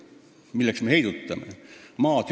Milleks me heidutame?